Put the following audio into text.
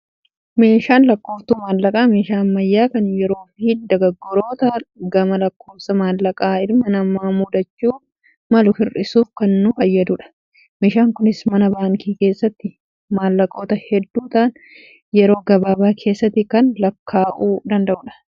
Meeshaan lakkooftuu maallaqaa, meeshaa ammayyaa kan yeroo fi dogooggoroota gama lakkoofsa maallaqaa ilma namaa mudachuu malu hir'isuuf kan nu fayyadudha. Meeshaan kunis mana baankii keessatti maallaqoota hedduu ta'an yeroo gabaabaa keessatti kan lakkaa'uu danda'udha.